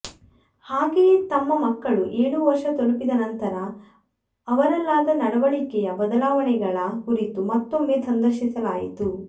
ಹಾಗೆಯೇ ತಮ್ಮ ಮಕ್ಕಳು ಏಳು ವರ್ಷ ತಲುಪಿದ ನಂತರ ಅವರಲ್ಲಾದ ನಡವಳಿಕೆಯ ಬದಲಾವಣೆಗಳ ಕುರಿತು ಮತ್ತೊಮ್ಮೆ ಸಂದರ್ಶಿಸಲಾಯಿತು